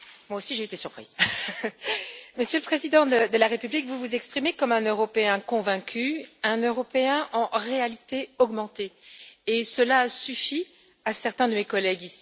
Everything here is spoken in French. Monsieur le Président, Monsieur le Président de la République, vous vous exprimez comme un Européen convaincu, un Européen en réalité augmentée, et cela a suffi à certains de mes collègues.